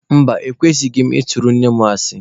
Mba, ekwesighị m ị tụrụ nne mụ asị.